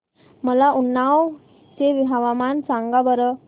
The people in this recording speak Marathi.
मला उन्नाव चे हवामान सांगा बरं